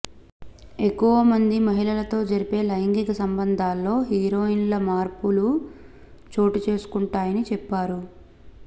ఎక్కువ మంది మహిళలతో జరిపే లైంగిక సంబంధాల్లో హరోన్ల మార్పులు చోటుచేసుకొంటాయని చెప్పారు